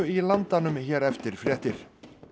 í Landanum hér eftir fréttir